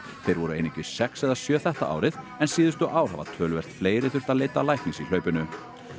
þeir voru einungis sex eða sjö þetta árið en síðustu ár hafa töluvert fleiri þurft að leita læknis í hlaupinu